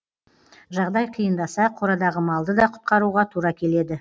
жағдай қиындаса қорадағы малды да құтқаруға тура келеді